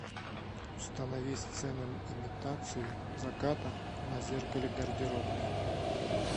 установи сцену имитацию заката на зеркале гардеробной